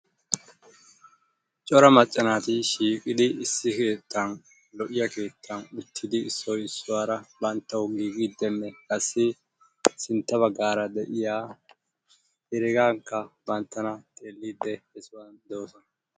cora maca naati shiiqidi issi keettan lo'iya keetan uttidi issoy iisuwara bantawu giigidinne qassi sintta bagaara de'iya heregaaka bantana xeeliidi beetoosona.